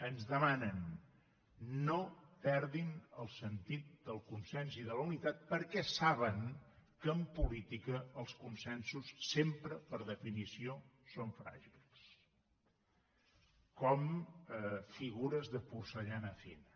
ens demanen no perdin el sentit del consens i de la unitat perquè saben que en política els consensos sempre per definició són fràgils com figures de porcellana fina